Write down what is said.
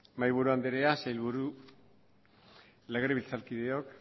mahaiburu anderea sailburu legebiltzarkideok